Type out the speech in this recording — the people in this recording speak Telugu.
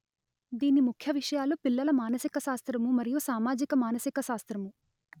దీని ముఖ్య విషయాలు పిల్లల మానసిక శాస్త్రము మరియు సామాజిక మానసిక శాస్త్రము